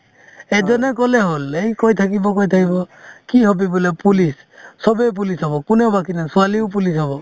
এইটো এনেই ক'লেই হ'ল এই কৈ থাকিব কৈ থাকিব কি হবি বোলে police চবে police হ'ব কোনেও বাকি নাথাকে ছোৱালীও police হ'ব